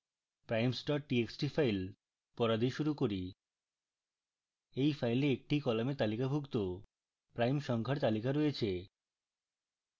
primes txt file পড়া দিয়ে শুরু করি এই file একটি column তালিকাভুক্ত prime সংখ্যার তালিকা থাকে